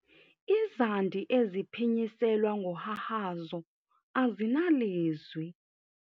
Izandi eziphinyiselwa ngohahazo azinalizwi.